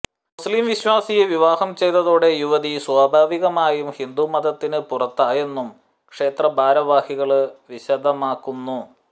മുസ്ലിം വിശ്വാസിയെ വിവാഹം ചെയ്തതോടെ യുവതി സ്വാഭാവികമായും ഹിന്ദു മതത്തിന് പുറത്തായെന്നും ക്ഷേത്ര ഭാരവാഹികള് വിശദമാക്കുന്നു